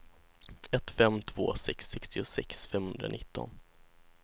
ett fem två sex sextiosex femhundranitton